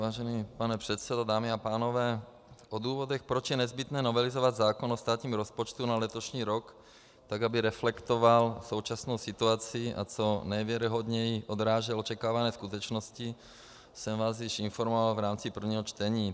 Vážený pane předsedo, dámy a pánové, o důvodech, proč je nezbytné novelizovat zákon o státním rozpočtu na letošní rok tak, aby reflektoval současnou situaci a co nejvěrohodněji odrážel očekávané skutečnosti, jsem vás již informoval v rámci prvního čtení.